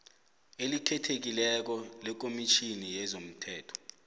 elikhethekileko lekomitjhini yezomthetho